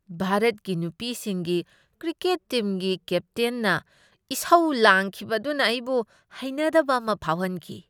ꯚꯥꯔꯠꯀꯤ ꯅꯨꯄꯤꯁꯤꯡꯒꯤ ꯀ꯭ꯔꯤꯀꯦꯠ ꯇꯤꯝꯒꯤ ꯀꯦꯞꯇꯦꯟꯅ ꯏꯁꯧ ꯂꯥꯡꯈꯤꯕ ꯑꯗꯨꯅ ꯑꯩꯕꯨ ꯍꯩꯅꯗꯕ ꯑꯃ ꯐꯥꯎꯍꯟꯈꯤ꯫